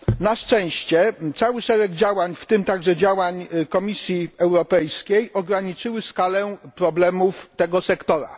Na szczęście cały szereg działań, w tym także działań Komisji Europejskiej, ograniczył skalę problemów tego sektora.